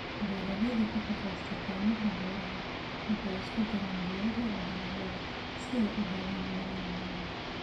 Beeraleyda ku shaqeysta kaymaha beeraha waxay isku daraan geedaha iyo dalagyada si ay u helaan nidaam waara.